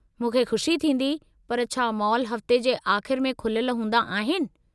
मूंखे खु़शी थींदी पर छा मॉल हफ़्ते जे आख़िर में खुलियलु हूंदा आहिनि?